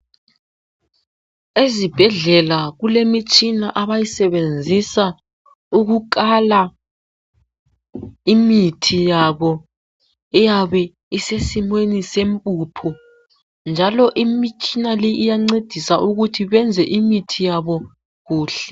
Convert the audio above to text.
Ezibhedlela kulemitshina abayisebenzisa ukukala imithi yabo eyabe isesimweni sempuphu njalo imitshina le iyancedisa ukuthi benze imithi yabo kuhle.